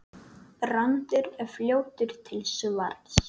Brandur er fljótur til svars.